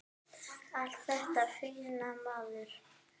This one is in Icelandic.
Allt þetta fína, maður.